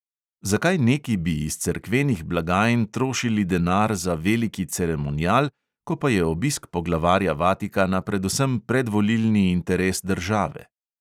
Zakaj neki bi iz cerkvenih blagajn trošili denar za veliki ceremonial, ko pa je obisk poglavarja vatikana predvsem predvolilni interes države.